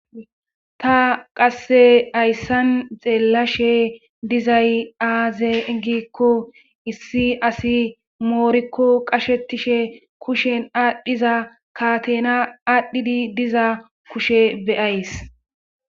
Ta qasse ayssan xeellashe dizay aazeegikko issi asi moorikko qashetishe kushen aadhdhiza katena aadhdhidi diza kushe beyays